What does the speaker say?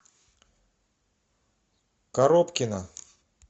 коробкина